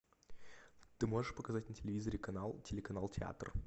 ты можешь показать на телевизоре канал телеканал театр